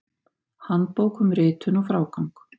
Handbók um ritun og frágang.